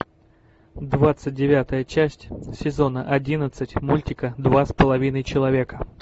двадцать девятая часть сезона одиннадцать мультика два с половиной человека